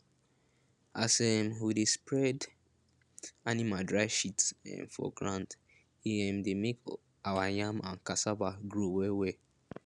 as um we dey spread animal dry shit um for ground e um dey make our yam and cassava grow wellwell